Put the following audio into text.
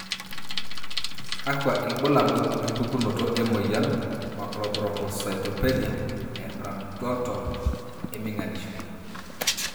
kakwa ilbulabul opukunoto emoyian Macrothrombocytopenia empnaroto eminganisho?